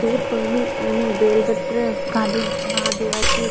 दूधपाणी आणि बेलपत्र घालून महादेवाची